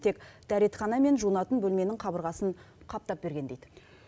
тек дәретхана мен жуынатын бөлменің қабырғасын қаптап берген дейді